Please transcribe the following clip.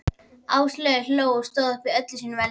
Áslaug hló og stóð upp í öllu sínu veldi.